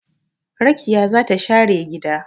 Rakiya za ta share gida